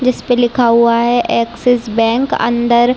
जिसपे लिखा हुआ है एक्सिस बैंक । अंदर--